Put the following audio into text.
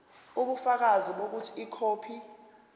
ubufakazi bokuthi ikhophi